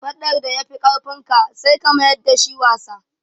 Faɗan da ya fi ƙarfin ka, sai ka mayar da shi wasa.